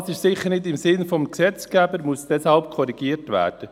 Das ist sicher nicht im Sinne des Gesetzgebers und muss deshalb korrigiert werden.